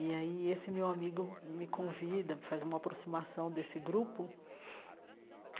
E aí esse meu amigo me convida, faz uma aproximação desse grupo.